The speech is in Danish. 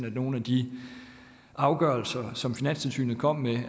at nogle af de afgørelser som finanstilsynet kom med